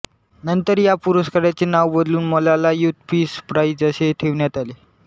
नंतर या पुरस्काराचे नाव बदलून मलाला यूथ पीस प्राईझ असे ठेवण्यात आले